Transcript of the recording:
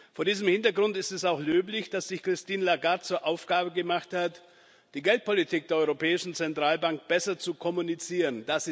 Vor diesem Hintergrund ist es auch löblich, dass sich Christine Lagarde zur Aufgabe gemacht hat, die Geldpolitik der Europäischen Zentralbank besser zu kommunizieren.